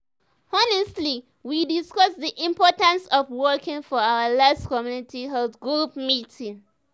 honestly we discuss the importance of walking for our last community health group meeting.